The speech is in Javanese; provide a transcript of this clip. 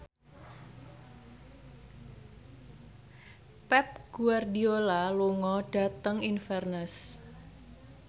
Pep Guardiola lunga dhateng Inverness